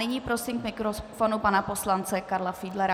Nyní prosím k mikrofonu pana poslance Karla Fiedlera.